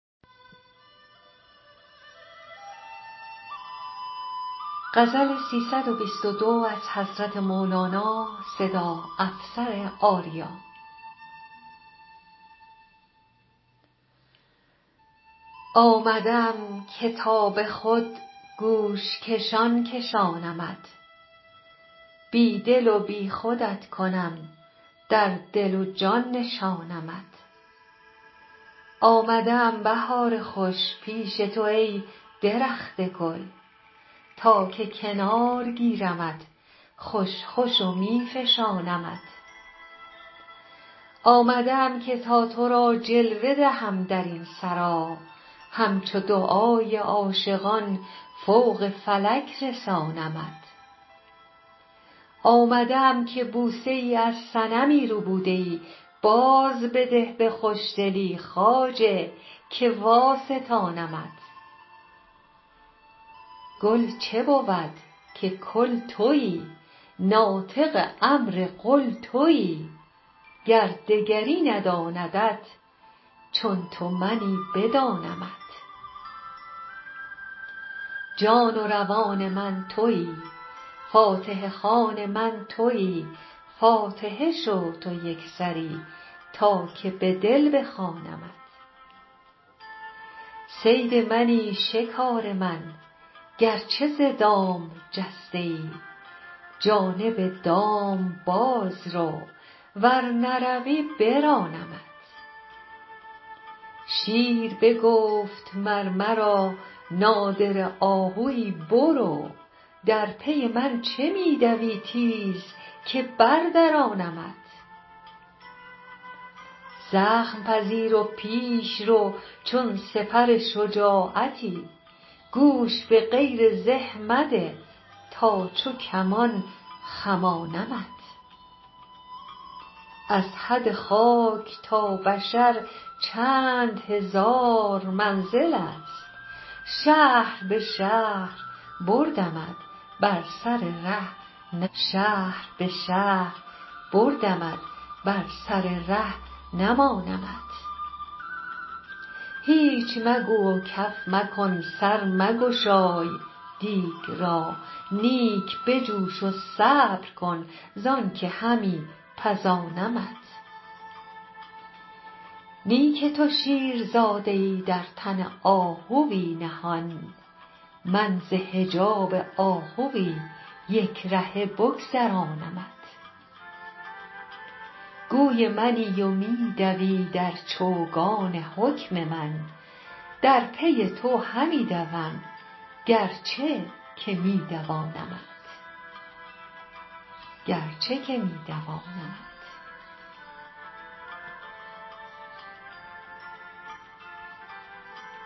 آمده ام که تا به خود گوش کشان کشانمت بی دل و بی خودت کنم در دل و جان نشانمت آمده ام بهار خوش پیش تو ای درخت گل تا که کنار گیرمت خوش خوش و می فشانمت آمده ام که تا تو را جلوه دهم در این سرا همچو دعای عاشقان فوق فلک رسانمت آمده ام که بوسه ای از صنمی ربوده ای بازبده به خوشدلی خواجه که واستانمت گل چه بود که کل تویی ناطق امر قل تویی گر دگری نداندت چون تو منی بدانمت جان و روان من تویی فاتحه خوان من تویی فاتحه شو تو یک سری تا که به دل بخوانمت صید منی شکار من گرچه ز دام جسته ای جانب دام باز رو ور نروی برانمت شیر بگفت مر مرا نادره آهوی برو در پی من چه می دوی تیز که بردرانمت زخم پذیر و پیش رو چون سپر شجاعتی گوش به غیر زه مده تا چو کمان خمانمت از حد خاک تا بشر چند هزار منزلست شهر به شهر بردمت بر سر ره نمانمت هیچ مگو و کف مکن سر مگشای دیگ را نیک بجوش و صبر کن زانک همی پزانمت نی که تو شیرزاده ای در تن آهوی نهان من ز حجاب آهوی یک رهه بگذرانمت گوی منی و می دوی در چوگان حکم من در پی تو همی دوم گرچه که می دوانمت